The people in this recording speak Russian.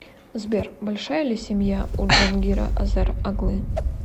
сбер большая ли семья у джангира азер оглы